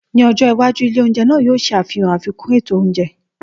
Ní ọjọ́ iwájú, ilé oúnjẹ náà yóò ṣe àfihàn àfikún ètò oúnjẹ.